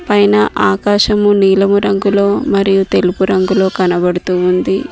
పైన ఆకాశము నీలం రంగులో మరియు తెలుపు రంగులో కనబడుతూ ఉంది.